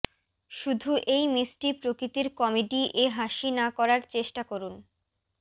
শুধু এই মিষ্টি প্রকৃতির কমেডি এ হাসি না করার চেষ্টা করুন